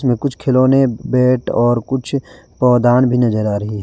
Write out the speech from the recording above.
कुछ खिलौने बैट और कुछ पौदान भी नजर आ रही है।